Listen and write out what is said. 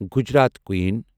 Gujarat کوٗیٖن